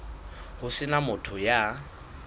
ho se na motho ya